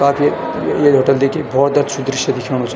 काफी ये होटल देखी भौत अच्छू दृश्य दिखेंणू च।